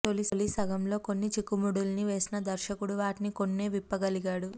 తొలి సగంలో కొన్ని చిక్కుముడుల్ని వేసిన దర్శకుడు వాటిని కొన్నే విప్పగలిగాడు